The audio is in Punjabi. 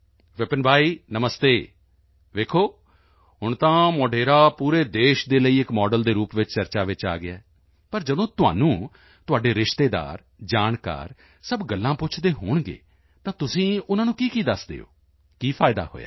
ਵਿਪਿਨ ਭਾਈ ਨਮਸਤੇ ਦੇਖੋ ਹੁਣ ਤਾਂ ਮੋਢੇਰਾ ਪੂਰੇ ਦੇਸ਼ ਦੇ ਲਈ ਇੱਕ ਮਾਡਲ ਦੇ ਰੂਪ ਵਿੱਚ ਚਰਚਾ ਚ ਆ ਗਿਆ ਹੈ ਪਰ ਜਦੋਂ ਤੁਹਾਨੂੰ ਤੁਹਾਡੇ ਰਿਸ਼ਤੇਦਾਰ ਜਾਣਕਾਰ ਸਭ ਗੱਲਾਂ ਪੁੱਛਦੇ ਹੋਣਗੇ ਤਾਂ ਤੁਸੀਂ ਉਨ੍ਹਾਂ ਨੂੰ ਕੀਕੀ ਦੱਸਦੇ ਹੋ ਕੀ ਫਾਇਦਾ ਹੋਇਆ